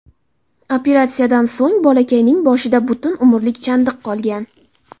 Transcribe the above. Operatsiyadan so‘ng bolakayning boshida butun umrlik chandiq qolgan.